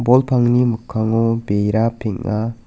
bol pangni mikkango bera peng·a.